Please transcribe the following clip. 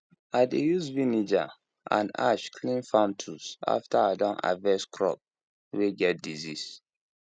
i dey use vinegar and ash clean farm tools after i don harvest crops way get disease